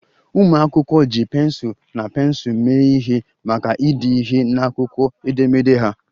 Ụmụ akwụkwọ ji pensụl na pensụl mee ihe maka ide ihe n'akwụkwọ edemede ha